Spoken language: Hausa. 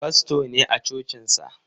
Fasto ne a cocinsa.